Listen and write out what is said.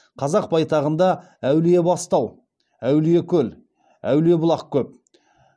қазақ байтағында әулиебастау әулиекөл әулиебұлақ көп